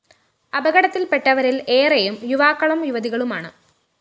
അപകടത്തില്‍ പെട്ടവരില്‍ ഏറെയും യുവാക്കളും യുവതികളുമാണ്